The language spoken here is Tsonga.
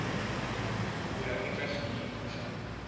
ku ya eka xiyimo xa